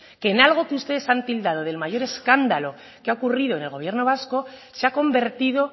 que en algo que ustedes han tildado del mayor escándalo que ha ocurrido en el gobierno vasco se ha convertido